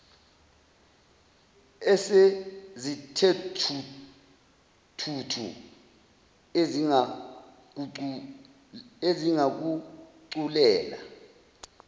esezithe thuthu ezingakuculela